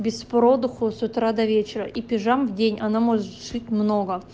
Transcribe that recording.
без продыху с утра до вечера и пижам в день она может шить много